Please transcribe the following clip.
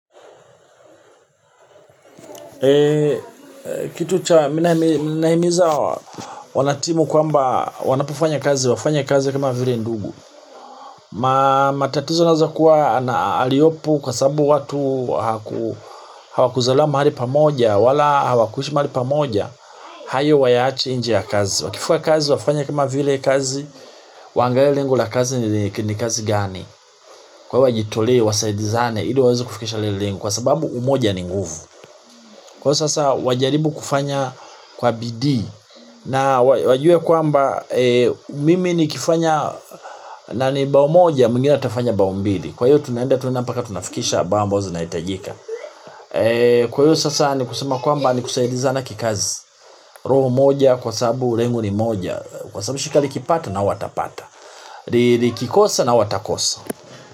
Kitu cha, mina nahimiza wana timu kwamba wanapofanya kazi, wafanye kazi kama vile ndugu. Matatizo nazo kuwa, aliopo kwa sababu watu hawakuzaliwa mahali pamoja wala hawakuishi mahali pamoja, hayo wayaache nje ya kazi. Wakifika kazi, wafanye kama vile kazi, waangalie lengo la kazi ni kazi gani. Kwa hivo wajitolee wasaidizane ili waweze kufikisha lile lengo kwa sababu umoja ni nguvu. Kwa sasa wajaribu kufanya kwa bidii na wajue kwamba mimi nikifanya mbao moja mwingine atafanya mbao mbili kwa hiyo tunaenda tunapaka tunafikisha mbao ambazo zitahitajika. Kwa hiyo sasa ni kusema kwamba ni kusaidiza kikazi roho moja kwa sababu lengo ni moja. Kwa sababu shirika likipata na watapata, likikosa nao watakosa.